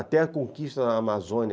Até a conquista na Amazônia,